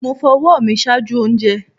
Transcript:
Mo fo ọwọ mi ṣaaju ounjẹ